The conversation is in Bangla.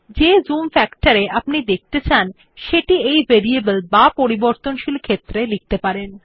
যে জুম ফ্যাক্টর এ আপনি ডকুমেন্ট দেখতে চান সেটি এই ভেরিয়েবল বা পরিবর্তনশীল ক্ষেত্রে লিখতে পারেন